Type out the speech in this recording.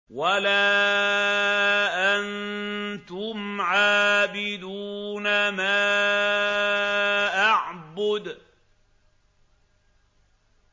وَلَا أَنتُمْ عَابِدُونَ مَا أَعْبُدُ